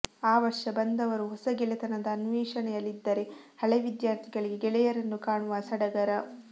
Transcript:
ಆ ವರ್ಷ ಬಂದವರು ಹೊಸ ಗೆಳೆತನದ ಅನ್ವೇಷಣೆಯಲ್ಲಿದ್ದರೆ ಹಳೇ ವಿದ್ಯಾರ್ಥಿಗಳಿಗೆ ಗೆಳೆಯರನ್ನು ಕಾಣುವ ಸಡಗರ